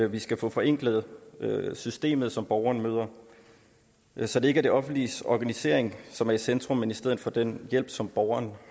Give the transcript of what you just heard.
vi skal have forenklet systemet som borgeren møder så det ikke er det offentliges organisering som er i centrum men i stedet for den hjælp som borgeren